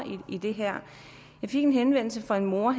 i det her jeg fik en henvendelse fra en mor